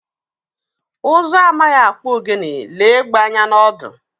Ụzụ amaghị akpụ ogene, lee egbé anya n'ọdụ.